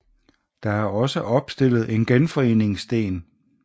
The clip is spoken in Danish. Der er også opstillet en genforeningssten